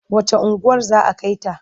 Wacce unguwar za a kai ta?